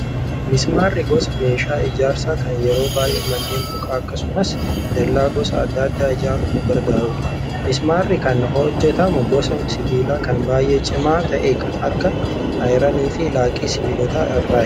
Mismaarri gosa meeshaa ijaarsaa kan yeroo baay'ee manneen mukaa akkasumas dallaa gosa adda addaa ijaaruuf nu gargaarudha. Mismaarri kan hojjatamu gosa sibiilaa kan baay'ee cimaa ta'e kan akka ayiranii fi laaqii sibiilotaa irraati.